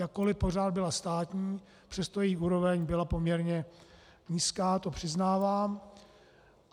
Jakkoli pořád byla státní, přesto její úroveň byla poměrně nízká, to přiznávám.